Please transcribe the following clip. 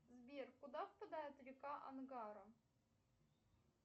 сбер куда впадает река ангара